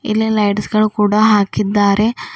ಇಲ್ಲಿ ಲೈಟ್ಸ್ ಗಳು ಕೂಡ ಹಾಕಿದ್ದಾರೆ.